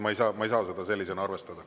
Ma ei saa seda sellisena arvestada.